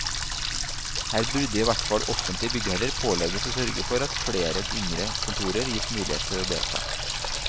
Her burde i hvert fall offentlige byggherrer pålegges å sørge for at flere yngre kontorer gis mulighet til å delta.